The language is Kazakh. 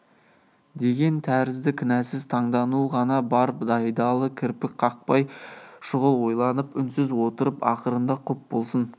деген тәрізді кінәсіз таңдану ғана бар байдалы кірпік қақпай шұғыл ойланып үнсіз отырып ақырында құп болсын